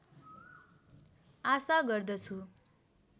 आशा गर्दछु